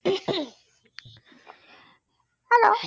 Hello